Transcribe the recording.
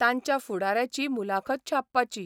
तांच्या फुडाऱ्याची मुलाखत छापपाची.